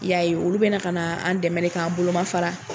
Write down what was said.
I y'a ye olu bɛ na ka n'an dɛmɛ k'an bolomafara